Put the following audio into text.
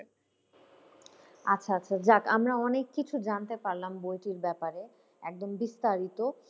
আচ্ছা আচ্ছা যাক আমরা অনেক কিছু জানতে পারলাম বইটির ব্যাপারে একদম বিস্তারিত।